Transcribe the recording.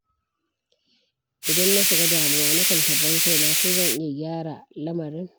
Idan na shiga damuwa, nakan tambayi kaina ko zan iya gyara lamarin.